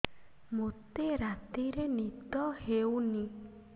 ମୋତେ ରାତିରେ ନିଦ ହେଉନି